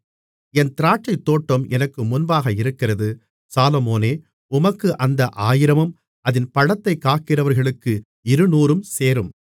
என் திராட்சைத்தோட்டம் எனக்கு முன்பாக இருக்கிறது சாலொமோனே உமக்கு அந்த ஆயிரமும் அதின் பழத்தைக் காக்கிறவர்களுக்கு இருநூறும் சேரும்